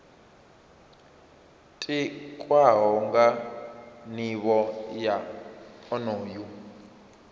tikwaho nga nivho ya onoyo